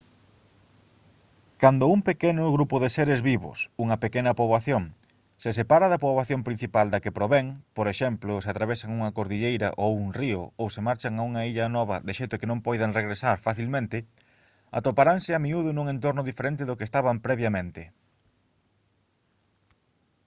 cando un pequeno grupo de seres vivos unha pequena poboación se separa da poboación principal da que provén por exemplo se atravesan unha cordilleira ou un río ou se marchan a unha illa nova de xeito que non poidan regresar facilmente atoparanse a miúdo nun entorno diferente do que estaban previamente